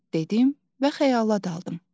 dedim və xəyala daldım.